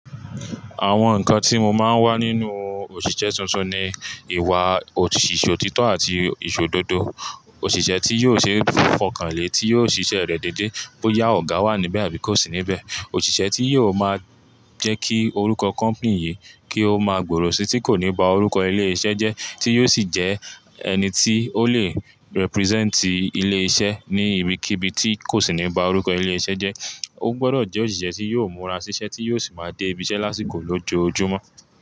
Àwọn nǹkan tí mo máa ń wá nínú òṣìṣẹ́ tuntun ni ìwà, òṣìṣẹ́ òtítọ́ àti ìṣóòdodo. Òṣìṣẹ́ tí yóò ṣe fọkànle, tí yóò ṣiṣẹ́ rẹ̀ déédé bóyá ọ̀gá wà níbẹ̀ àbí kò sí níbẹ̀. Òṣìṣẹ́ tí yóò máa jẹ́ kí orúkọ company yìí, kí ó máa gbòòrò sí tí kò ní ba orúkọ ilé iṣẹ́ jẹ́, tí yóò sì jẹ ẹni tí ó lè represent ilé iṣẹ́ ní ibikíbi tí kò sì ní ba orúkọ ilé iṣẹ́ jẹ́. Ó gbọdọ̀ jẹ́ òṣìṣẹ́ tí yóò múra síṣẹ́ tí yóò sì máa dé ibiṣẹ́ lásìkò lójoojúmọ́.